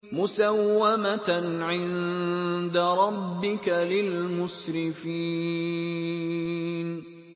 مُّسَوَّمَةً عِندَ رَبِّكَ لِلْمُسْرِفِينَ